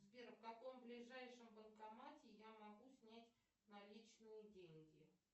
сбер в каком ближайшем банкомате я могу снять наличные деньги